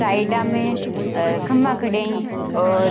साइडा में खम्बा खड़िया है और --